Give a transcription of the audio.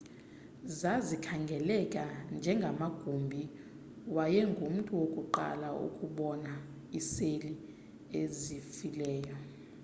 zazikhangeleka njengamagumbi wayengumntu wokuqala ukubona iiseli ezifileyo